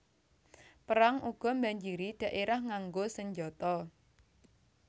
Perang uga mbanjiri dhaérah nganggo senjata